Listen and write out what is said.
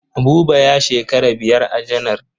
Buba ya shekara biyar a janar.